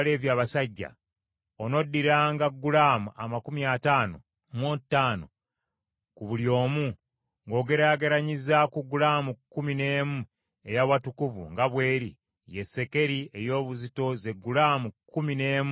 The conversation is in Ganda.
onoddiranga gulaamu amakumi ataano mu ttaano ku buli omu, ng’ogeraageranyiza ku gulaamu kkumi n’emu ey’awatukuvu nga bw’eri, ye sekeri ey’obuzito ze gulaamu kkumi n’emu n’ekitundu.